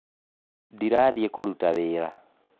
Ndĩrathiĩ kũruta wĩra